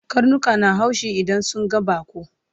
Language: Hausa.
Karnika na haushi idan sun ga baƙo